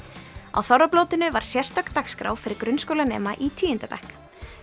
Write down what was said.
á þorrablótinu var sérstök dagskrá fyrir grunnskólanema í tíunda bekk